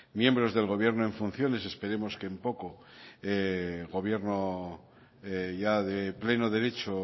miembros del gobierno en funciones esperemos que en poco gobierno ya de pleno derecho